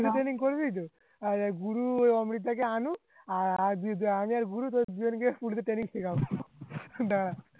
training করবিতো আর গুরু অমৃতদাকে আনু আমি আর গুরু training শিখাবো